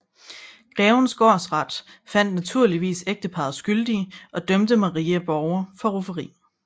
Grevens gårdsret fandt naturligvis ægteparret skyldige og dømte Maria Borger for rufferi